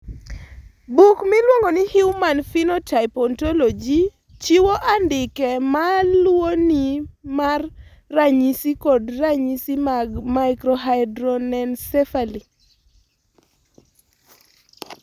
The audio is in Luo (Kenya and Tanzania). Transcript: Buk miluongo ni Human Phenotype Ontology chiwo andike ma luwoni mar ranyisi kod ranyisi mag Microhydranencephaly.